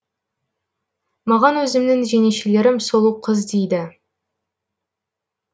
маған өзімнің жеңешелерім сұлуқыз дейді